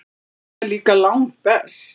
Það er líka langbest.